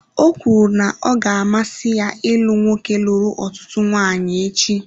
Ọ kwuru na ọ ga-amasị ya ịlụ nwoke lụrụ ọtụtụ nwanyị echi.